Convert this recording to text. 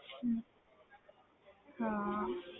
ਹਮ ਹਾਂ